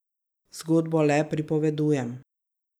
Zgodbo le pripovedujem.